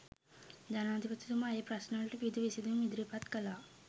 ජනාධිපතිතුමා ඒ ප්‍රශ්නවලට විවිධ විසඳුම් ඉදිරිපත් කළා.